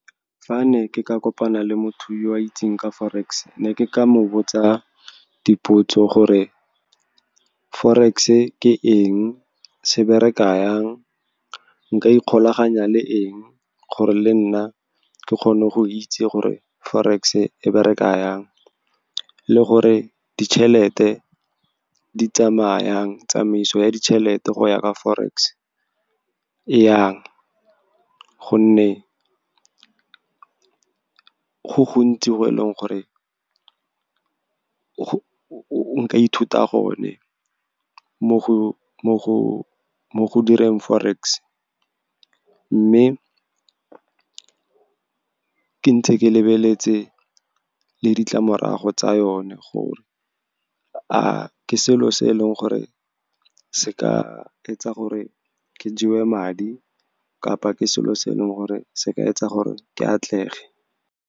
Fa ne ke ka kopana le motho yo itseng ka forex, ne ke ka mo botsa dipotso gore forex e ke eng, se bereka jang, nka ikgolaganya le eng, gore le nna ke kgone go itse gore forex e bereka jang, le gore ditšhelete di tsamaya jang. Tsamaiso ya ditšhelete go ya ka forex e yang, gonne go gontsi go e leng gore o ka ithuta gone mo go direng forex. Mme ke ntse ke lebeletse le ditlamorago tsa yone, gore a ke selo se e leng gore se ka etsa gore ke jewe madi, kapa ke selo se e leng gore se ka etsa gore ke atlege.